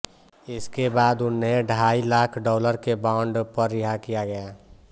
इसके बाद उन्हें ढाई लाख डॉलर के बॉन्ड पर रिहा किया गया